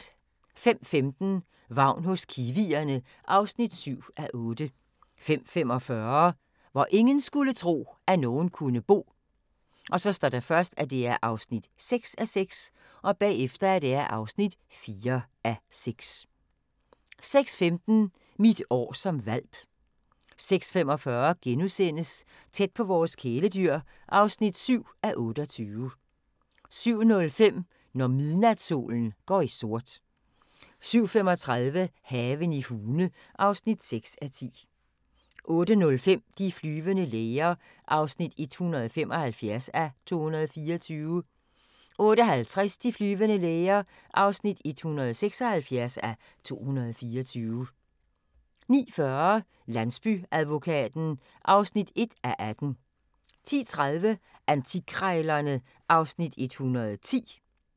05:15: Vagn hos kiwierne (7:8) 05:45: Hvor ingen skulle tro, at nogen kunne bo (6:6) (4:6) 06:15: Mit år som hvalp 06:45: Tæt på vores kæledyr (7:28)* 07:05: Når midnatssolen går i sort 07:35: Haven i Hune (6:10) 08:05: De flyvende læger (175:224) 08:50: De flyvende læger (176:224) 09:40: Landsbyadvokaten (1:18) 10:30: Antikkrejlerne (Afs. 110)